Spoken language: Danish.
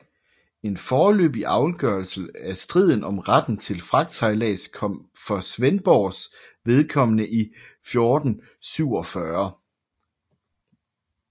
En forløbig afgørelse af striden om retten til fragtsejlads kom for Svendborgs vedkommende i 1447